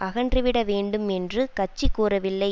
அகன்று விட வேண்டும் என்று கட்சி கூறவில்லை